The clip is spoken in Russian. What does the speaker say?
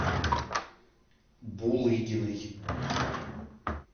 булыгиной